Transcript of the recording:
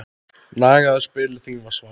Nagaðu spilin þín var svarið.